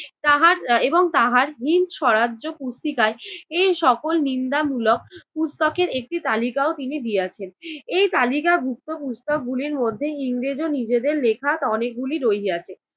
তাহার এর এবং তাহার হিন্দ সরাজ্য পুস্তিকায় এই সকল নিন্দামূলক পুস্তকের একটি তালিকাও তিনি দিয়াছেন। এই তালিকাভুক্ত পুস্তকগুলির মধ্যে ইংরেজ ও নিজেদের লেখা অনেকগুলি রহিয়াছে।